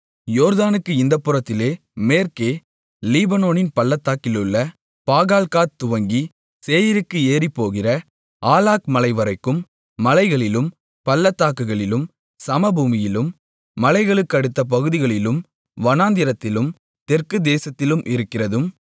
யோர்தானுக்கு இந்தப் புறத்திலே மேற்கே லீபனோனின் பள்ளத்தாக்கிலுள்ள பாகால்காத் துவங்கி சேயீருக்கு ஏறிப்போகிற ஆலாக்மலைவரைக்கும் மலைகளிலும் பள்ளத்தாக்குகளிலும் சமபூமியிலும் மலைகளுக்கடுத்த பகுதிகளிலும் வனாந்திரத்திலும் தெற்குத் தேசத்திலும் இருக்கிறதும்